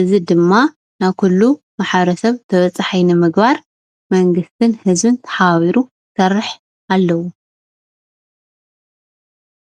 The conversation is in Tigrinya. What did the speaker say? እዚ ድማ ናብ ኩሉ ማ/ሰብ ተበፀሓይ ንምግባር መንግስትን ህዝብን ተሓባቢሩ ክሰርሕ ኣለዎ፡፡